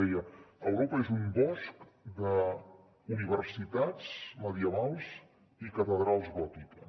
deia europa és un bosc d’universitats medievals i catedrals gòtiques